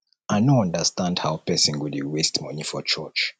i no understand how person go dey waste money for church